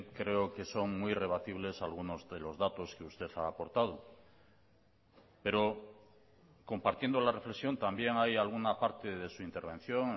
creo que son muy rebatibles algunos de los datos que usted ha aportado pero compartiendo la reflexión también hay alguna parte de su intervención